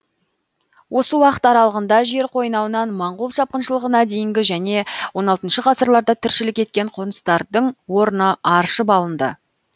осы уақыт аралығында жер қойнауынан моңғол шапқыншылығына дейінгі және он алтыншы ғасырларда тіршілік еткен қоныстардың орны аршып алынды